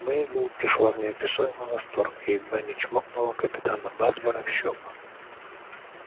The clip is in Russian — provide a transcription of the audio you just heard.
мейбелл пришла в неописуемый восторг и едва не чмокнула капитана батлера в щёку